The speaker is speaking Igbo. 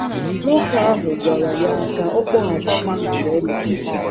Nwoke ahụ gwara ya ka ọ kpọghachi mgbe e mesịrị.